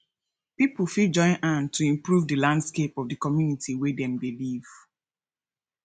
pipo fit join hand to improve di landscape of the community wey dem dey live